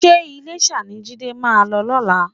Ṣé Iléṣà ni Jídé máa lọ lọ́la?